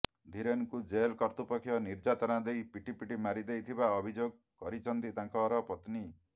ଧୀରେନଙ୍କୁ jail କର୍ତ୍ତୃପକ୍ଷ ନିର୍ଯାତନା ଦେଇ ପିଟିପିଟି ମାରି ଦେଇଥିବା ଅଭିଯୋଗ କରିଛନ୍ତି ତାଙ୍କର ପତ୍ନୀ